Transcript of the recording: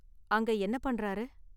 அங்க என்ன பண்றாரு?